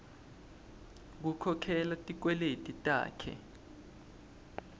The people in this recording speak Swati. kukhokhela tikweleti takhe